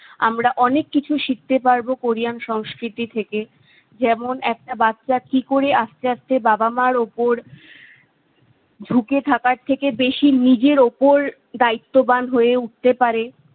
আমরা অনেক কিছু শিখতে পারবো কোরিয়ান সংস্কৃতি থেকে- যেমন একটা বাচ্চা কি করে আস্তে আস্তে বাবা মা'র ওপর ঝুঁকে থাকার থেকে বেশি নিজের ওপর দায়িত্ববান হয়ে উঠতে পারে